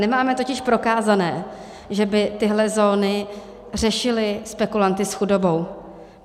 Nemáme totiž prokázané, že by tyhle zóny řešily spekulanty s chudobou.